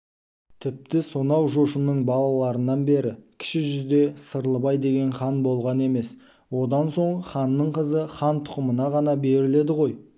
тіпті сонау жошының балаларынан бері кіші жүзде сырлыбай деген хан болған емес одан соң ханның қызы хан тұқымына ғана беріледі ғой